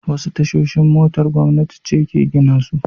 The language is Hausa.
Wasu tashoshin motar gwamnati ce ke gina su.